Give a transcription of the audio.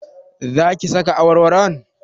Za ki saka awarwaron?